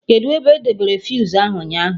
Kedụ ebe edebere fuse ahụ ụnyaahụ?